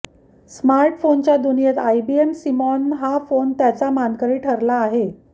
स्मार्टफोनच्या दुनियेत IBM Simon हा फोन त्याचा मानकरी ठरला आहे